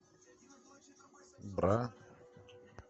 бра